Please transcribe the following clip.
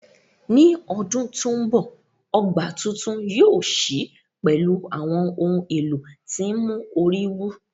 Ní ọdún tó ń bọ̀, ọgbà tuntun yóò ṣí pẹ̀lú àwọn ohùn èlò tí ń mú orí wú